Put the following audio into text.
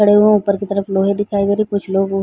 खड़े हुए हैं। ऊपर की तरफ लोहे दिखाई दे रही हैं कुछ लोग --